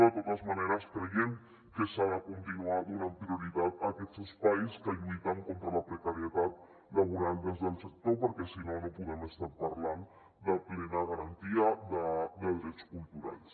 de totes maneres creiem que s’ha de continuar donant prioritat a aquests espais que lluiten contra la precarietat laboral des del sector perquè si no no podem estar parlant de plena garantia de drets culturals